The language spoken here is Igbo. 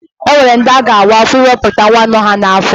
E nwere ndi a ga-awa afọ ịwepụta nwa nọ ha n'afọ.